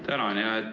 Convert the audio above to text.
Tänan!